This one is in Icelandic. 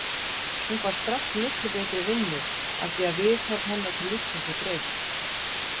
Hún fær strax miklu betri vinnu afþvíað viðhorf hennar til lífsins er breytt.